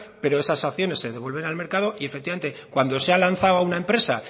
pero esas acciones se devuelven al mercado y efectivamente cuando se ha lanzado a una empresa